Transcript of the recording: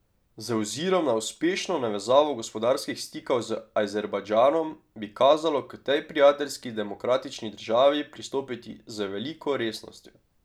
Z ozirom na uspešno navezavo gospodarskih stikov z Azerbajdžanom, bi kazalo k tej prijateljski demokratični državi pristopiti z veliko resnostjo.